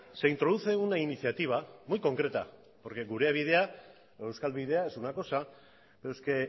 se introduce una iniciativa muy concreta porque gure bidea o euskal bidea es una cosa pero es que